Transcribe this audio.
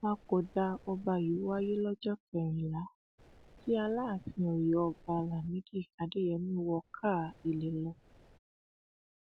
ìpapòdà ọba yìí wáyé lọjọ kẹrìnlá tí aláàfin ọyọ ọba lámìdí adéyẹmi wọ káà ilé lọ